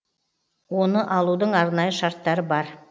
оны алудың арнайы шарттары бар